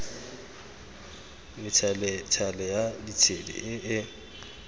methalethale ya ditshedi e e